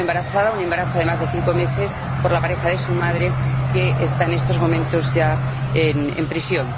Ha quedado embarazada ―un embarazo de más de cinco meses― por la pareja de su madre, que está en estos momentos ya en prisión.